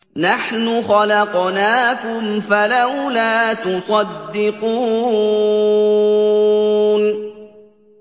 نَحْنُ خَلَقْنَاكُمْ فَلَوْلَا تُصَدِّقُونَ